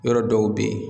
Yɔrɔ dɔw bɛ yen